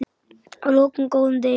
Að loknum góðum degi.